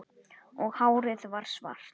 Og hárið varð svart